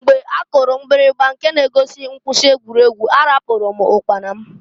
Mgbe a kụrụ mgbirigba nke na-egosi mkwụsị egwuregwu, ahapụru m ụkpana m.